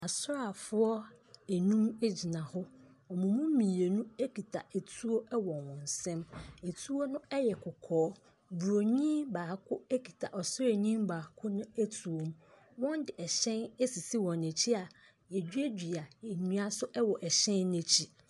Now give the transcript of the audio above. Asraafoɔ nnum gyina hɔ. Wɔn mu mmienu kita etuo wɔ wɔn nsam. Etuo no yɛ kɔkɔɔ. Buroni baako kita ɔsraani baako no tuo mu. Wɔde hyɛn asisi wɔn akyi a wɔaduadua nnua nso wɔ hyɛn no akyi.